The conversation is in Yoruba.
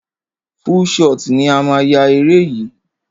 Full shot ni a máa yá eré yìí.